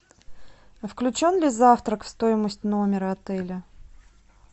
включен ли завтрак в стоимость номера отеля